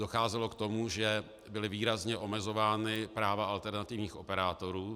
Docházelo k tomu, že byla výrazně omezována práva alternativních operátorů.